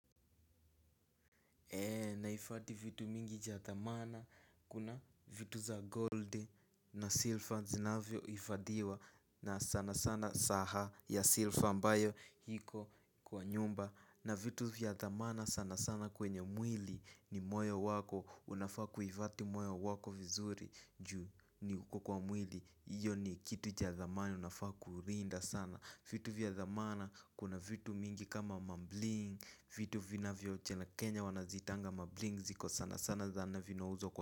Nahifadhi vitu mingi cha thamana, kuna vitu za gold na silver zinavyohifadhiwa na sana sana saha ya silver ambayo iko kwa nyumba. Na vitu vya thamana sana sana kwenye mwili ni moyo wako, unafaa kuhifadhi moyo wako vizuri juu ni uko kwa mwili, hiyo ni kitu cha thamani unafaa kulinda sana. Vitu vya thamana, kuna vitu mingi kama mabling. Vitu vinavyoche na Kenya wanaziitanga mabling. Ziko sana sana zana vinauzwa kwa.